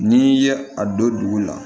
N'i ye a don dugu la